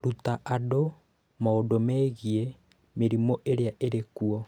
Ruta andũ maũndũ megiĩ mĩrimũ ĩrĩa ĩrĩ kuo.